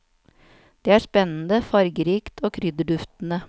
Det er spennende, fargerikt og krydderduftende.